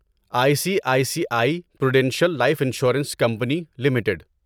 I C I C I prudential life insurance company limited